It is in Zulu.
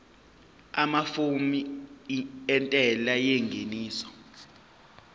amafomu entela yengeniso